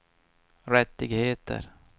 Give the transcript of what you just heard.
rättigheter